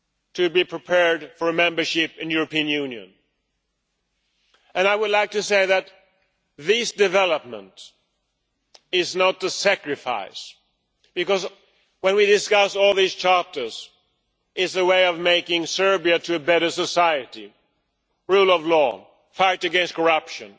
to be prepared for membership of the European Union. And I would like to say that this development is not a sacrifice, because when we discuss all these chapters, it is a way of making Serbia a better society rule of law, the fight against corruption,